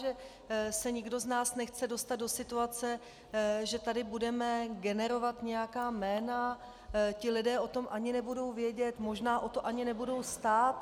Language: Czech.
Že se nikdo z nás nechce dostat do situace, že tady budeme generovat nějaká jména, ti lidé o tom ani nebudou vědět, možná o to ani nebudou stát.